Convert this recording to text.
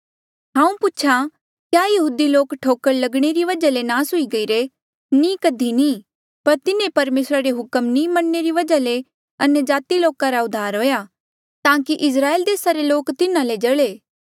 हांऊँ पूछा क्या यहूदी लोक ठोकर लगणे री वजहा ले नास हुई गईरे नी कधी नी पर तिन्हें परमेसरा रे हुक्म नी मन्ने री वजहा ले अन्यजाति लोका रा उद्धार हुआ ताकि इस्राएला देसा रे लोक तिन्हें ले जल्हे